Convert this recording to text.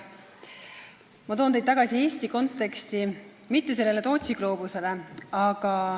Ma toon teid tagasi Eesti konteksti ja mitte selle Tootsi gloobuse juurde.